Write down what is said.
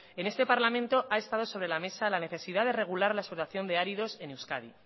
en este parlamento ha estado sobre la mesa la necesidad de regular la explotación de áridos en euskadi